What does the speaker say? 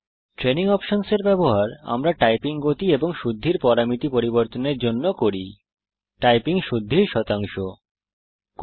training options এর ব্যবহার আমরা টাইপিং গতি এবং শুদ্ধির টাইপিং শুদ্ধির শতাংশ পরামিতি পরিবর্তনের জন্য করি